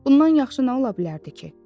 Bundan yaxşı nə ola bilərdi ki?